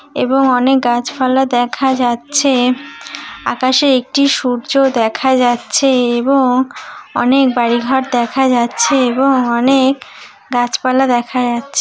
এবং অনেক গাছপালা দেখা যাচ্ছে আকাশে একটি সূর্য দেখা যাচ্ছে এবং অনেক বাড়িঘর দেখা যাচ্ছে এবং অনেক গাছপালা দেখা যাচ্--